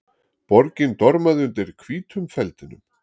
Borgin dormaði undir hvítum feldinum.